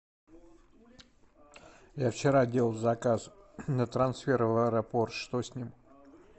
я вчера делал заказ на трансфер в аэропорт что с ним